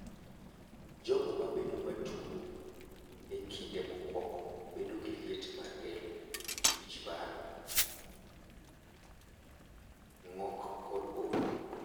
Jogo mabedo matuo,e kinde mokuongo bedo gi liet mar del, wichbar, ng`ok kod olo.